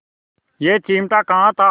यह चिमटा कहाँ था